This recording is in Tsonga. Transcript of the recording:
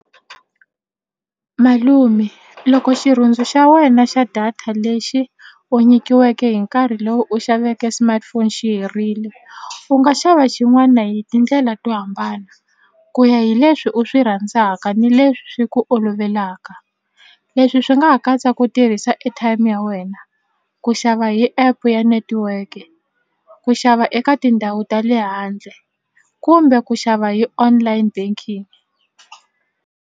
Malume loko xirhundzu xa wena xa data lexi u nyikiweke hi nkarhi lowu u xaveke smartphone xi herile u nga xava xin'wana hi tindlela to hambana ku ya hi leswi u swi rhandzaka ni leswi ku olovelaka leswi swi nga ha katsa ku tirhisa airtime ya wena ku xava hi app ya network-e ku xava eka tindhawu ta le handle kumbe ku xava hi online banking.